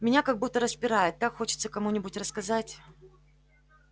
меня как будто распирает так хочется кому-нибудь рассказать